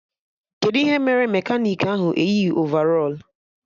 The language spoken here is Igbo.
Kedụ ihe mere mekanik ahụ eyighi ovarọl?